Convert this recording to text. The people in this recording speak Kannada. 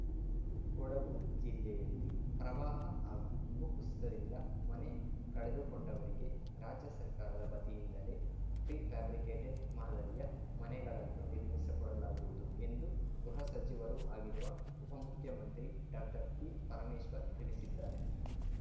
ಕೊಡಗು ಜಿಲ್ಲೆಯಲ್ಲಿ ಪ್ರವಾಹ ಹಾಗೂ ಭೂಕುಸಿತದಿಂದ ಮನೆ ಕಳೆದುಕೊಂಡವರಿಗೆ ರಾಜ್ಯ ಸರ್ಕಾರದ ವತಿಯಿಂದಲೇ ಪ್ರಿಫ್ಯಾಬ್ರಿಕೇಟೆಡ್‌ ಮಾದರಿಯ ಮನೆಗಳನ್ನು ನಿರ್ಮಿಸಿಕೊಡಲಾಗುವುದು ಎಂದು ಗೃಹ ಸಚಿವರೂ ಆಗಿರುವ ಉಪಮುಖ್ಯಮಂತ್ರಿ ಡಾಕ್ಟರ್ ಜಿಪರಮೇಶ್ವರ್‌ ತಿಳಿಸಿದ್ದಾರೆ